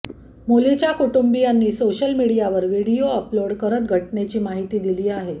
मुलीच्या कुटुंबीयांनी सोशलमीडियावर व्हिडीओ अपलोड करत घटनेची माहिती दिली आहे